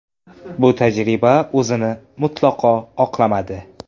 Bu tajriba o‘zini mutlaqo oqlamadi.